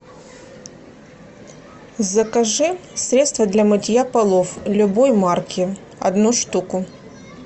закажи средство для мытья полов любой марки одну штуку